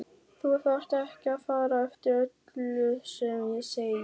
Þú þarft ekki að fara eftir öllu sem ég segi